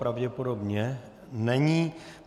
Pravděpodobně není.